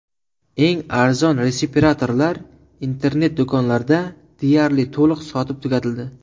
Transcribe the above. Eng arzon respiratorlar internet do‘konlarda deyarli to‘liq sotib tugatildi.